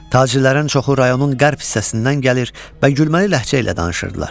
Tacirlərin çoxu rayonun qərb hissəsindən gəlir və gülməli ləhcə ilə danışırdılar.